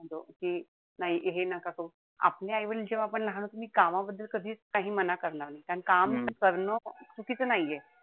कि नाई हे नका करू. आपले आई-वडील जेव्हा आपण लहान होतो. तेव्हा कामाबद्दल कधीच काही मना करणार नाही. अन काम करणं चुकीचं नाहीये.